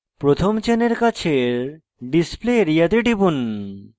প্রথম চেনের কাছের display area তে টিপুন